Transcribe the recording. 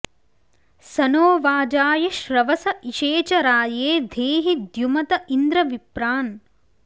स नो॒ वाजा॑य॒ श्रव॑स इ॒षे च॑ रा॒ये धे॑हि द्यु॒मत॑ इन्द्र॒ विप्रा॑न्